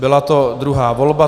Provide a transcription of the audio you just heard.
Byla to druhá volba.